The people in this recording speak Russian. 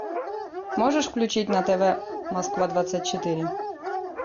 можешь включить на тв москва двадцать четыре